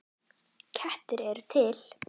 Kettir eru til